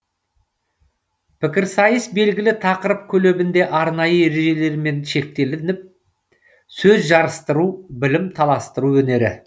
пікірсайыс белгілі тақырып көлемінде арнайы ережелермен шектелініп сөз жарыстыру білім таластыру өнері